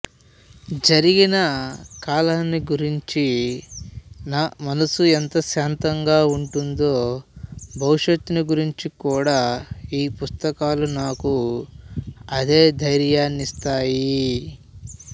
జరిగిన కాలాన్ని గూర్చి నామనస్సు ఎంత శాంతంగా ఉంటుందో భవిష్యత్తుని గూర్చికూడా ఈ పుస్తకాలు నాకు అదే ధైర్యాన్నిస్తాయి